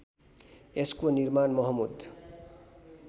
यसको निर्माण महमूद